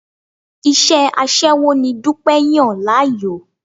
Iṣẹ́ aṣẹ́wó ni Dúpẹ́ yàn láàyò.